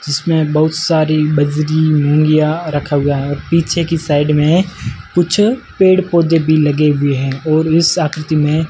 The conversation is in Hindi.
जिसमें बहुत सारी बजरी लुंगियाँ रखा हुआ है और पीछे की साइड में कुछ पेड़ पौधे भी लगे हुए हैं और इस आकृति में--